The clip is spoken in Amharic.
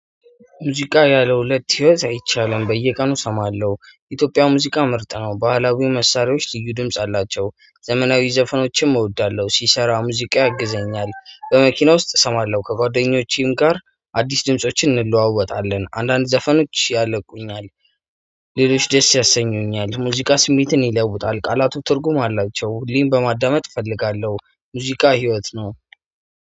ሙዚቃ ያለሁለት ህይወት አይቻልም በየቀኑ እሰማለሁ ኢትዮጵያ ሙዚቃ ምርጥ ነው። ባህላዊው መሳሪያዎች ልዩ ድምጽ አላቸው ዘመናዊ ዘፈኖችም እወዳለሁ። ሲሰራ ሙዚቃ ያግዘኛል በመኪና ውስጥ እሰማለሁ። ከጓደኞቼም ጋር አዲስ ድምፆችን እንለዋወጣለን አንዳንድ ዘፈኖች ያለቁኛል። ሌሎች ደስ ያሰኙኛል ሙዚቃ ስሜትን ይለውጣል ቃላቱ ትርጉም አላቸው። እኔም በማዳመጥ እፈልጋለሁ ሙዚቃ ህይወት ነው።